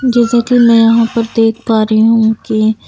जैसा कि मैं यहां पर देख पा रही हूं के--